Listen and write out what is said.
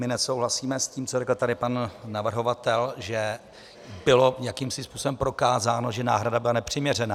My nesouhlasíme s tím, co řekl tady pan navrhovatel, že bylo jakýmsi způsobem prokázáno, že náhrada byla nepřiměřená.